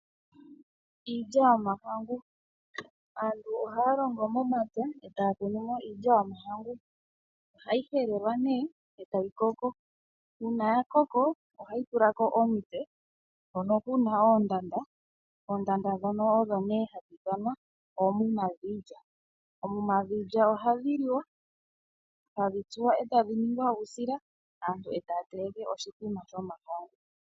Iilya yomahangu. Aantu ohaya longo momapya eta ya kunu mo iilya yomahangu. Ohayi helelwa nee eta yi koko uuna ya koko ohayi tula ko omitse hono ku na oondanda. Oondanda ndhono odho nee hadhi ithanwa oomuma dhiilya. Oomuma dhiilya ohadhi liwa hadhi tsuwa eta dhi ningi uusila aantu eta ya teleke oshimbombo shomahangu.